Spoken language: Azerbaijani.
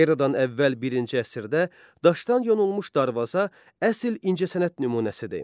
Eradan əvvəl birinci əsrdə daşdan yonulmuş darvaza əsl incəsənət nümunəsidir.